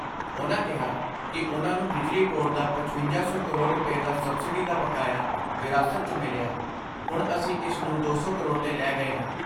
ਉਨ੍ਹਾਂ ਕਿਹਾ ਕਿ ਉਨ੍ਹਾਂ ਨੂੰ ਬਿਜਲੀ ਬੋਰਡ ਦਾ ਪਚਵੰਜਾ ਸੌ ਕਰੋੜ ਰੁਪੈ ਦਾ ਸਬਸਿਡੀ ਦਾ ਬਕਾਇਆ ਵਿਰਾਸਤ 'ਚ ਮਿਲਿਆ ਹੁਣ ਅਸੀਂ ਇਸ ਨੂੰ ਦੋ ਸੌ ਕਰੋੜ 'ਤੇ ਲੈ ਗਏ ਆਂ।